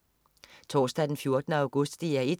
Torsdag den 14. august - DR 1: